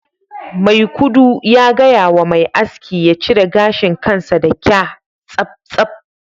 maikudu ya gaya wa mai aski ya cire gashin kansa da kya tsaftsaf